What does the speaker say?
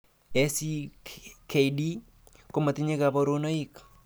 ACKD komatinye kabarunoik.